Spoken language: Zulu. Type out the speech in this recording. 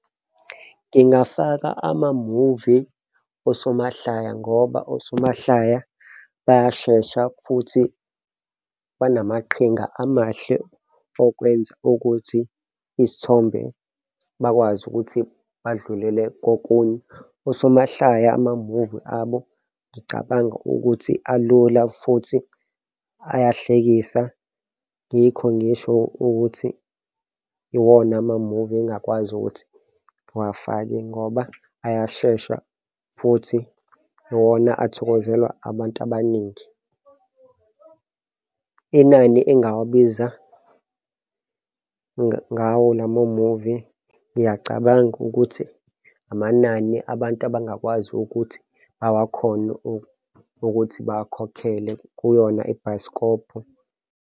Ngingafaka amamuvi, osomahlaya, ngoba osomahlaya bayashesha futhi banamaqhinga amahle, okwenza ukuthi izithombe bakwazi ukuthi badlulele kokunye. Osomahlaya amamuvi abo ngicabanga ukuthi alula futhi ayahlekisa. Yikho ngisho ukuthi iwona amamuvi engakwazi ukuthi ngiwafaki ngoba ayashesha futhi iwona athokozelwa abantu abaningi. Inani engawabiza ngawo la mamuvi. Ngiyacabanga ukuthi amanani abantu abangakwazi ukuthi bawakhone ukuthi bawakhokhele kuyona ibhayisikobhu.